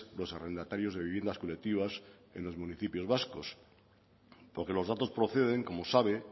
los arrendatarios de viviendas colectivas en los municipios vascos porque los datos proceden como sabe